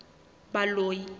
baloi